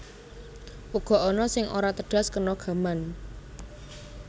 Uga ana sing ora tedhas kena gaman